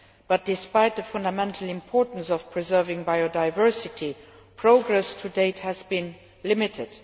But, despite the fundamental importance of preserving biodiversity, progress to date has been limited.